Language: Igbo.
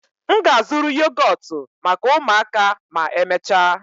M ga-azụrụ yogọtụ maka ụmụaka ma emechaa